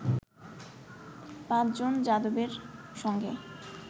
পাঁচ জন যাদবের সঙ্গে